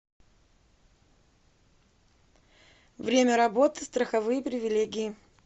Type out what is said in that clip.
время работы страховые привилегии